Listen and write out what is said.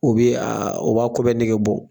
O bi o b'a ko bɛɛ nege bɔ